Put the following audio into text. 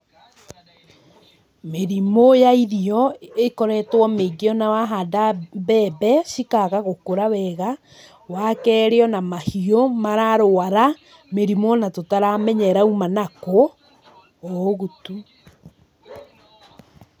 Mĩrimũ ya irio ĩkoretwo mĩingĩ ona wahanda mbembe, cikaga gũkũra wega, wakerĩ ona mahiũ, mararwara mĩrimũ ona tũtaramenya ĩrauma nakũ, oũguo tu